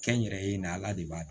Kɛnyɛrɛye na ala de b'a